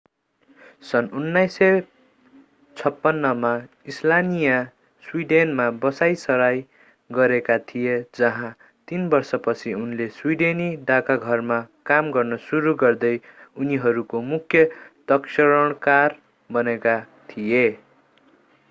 सन्‌ 1956 मा स्लानिया स्वीडेनमा बसाईंसराई गरेका थिए जहाँ तीन वर्षपछि उनले स्वीडेनी डाकघरमा काम गर्न सुरु गर्दै उनीहरूको मुख्य तक्षणकार बनेका थिए।